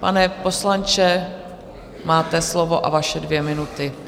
Pane poslanče, máte slovo a vaše dvě minuty.